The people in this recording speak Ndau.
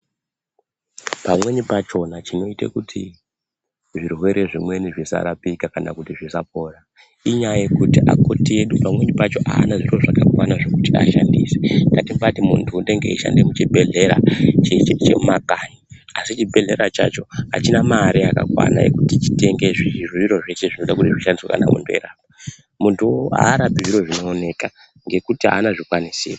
Pamweni pachona chinoite kuti zvirwere zvimweni zvisarapika kana kuti zvisapora, inyaya yekuti akoti edu pamweni pacho aana zviro zvakakwana zvekuti ashandise ngatibaati muntu unonga eishanda muchbhehlera chemumakanyi asi Chibhehlera chacho achina mare yakakwana yekuti chitenge zviro zveshe zvinoda kuti zvishandiswe kana kupera , muntuwo arapizviro zvinooneka ngekuti haana zvikwanisiro.